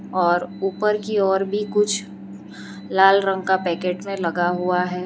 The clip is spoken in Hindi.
और ऊपर की ओर भी कुछ लाल रंग का पैकेट में लगा हुआ है।